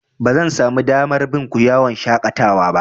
Bazan samu damar bin ku yawan shaƙatawa ba.